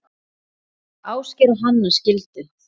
Ásgeir og Hanna skildu.